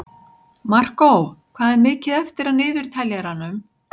Markó, hvað er mikið eftir af niðurteljaranum?